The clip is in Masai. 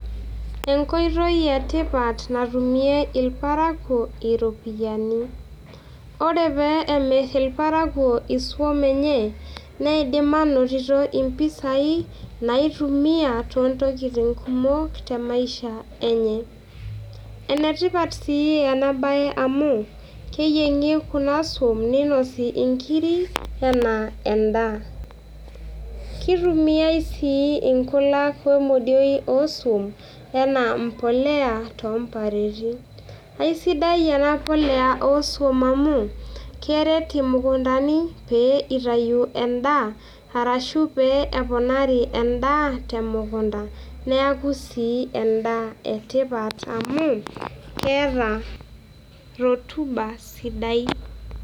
Enkoitoi e tipat natumie irparakuo iropiyiani Ore pee emir irparakuo isuam enye, neidim aanonito impisai naaitumia toontokitin kumok temaisha enye. Ene tipat sii ena bae amuu keyieng'i kuna suom neinosi inkiri enaa endaa. Kitumiai sii inkulak omodiok oosuom, enaa mbolea toompareti. Aisidai ena polea oosuom amuu keret imukuntani pee itayu endaa arashu pee eponari endaa temukunta. Neaku sii endaa etipat amuu keeta rotuba sidai